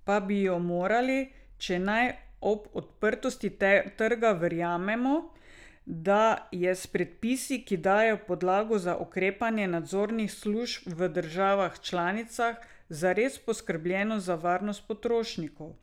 Pa bi jo morali, če naj ob odprtosti trga verjamemo, da je s predpisi, ki dajejo podlago za ukrepanje nadzornih služb v državah članicah, zares poskrbljeno za varnost potrošnikov.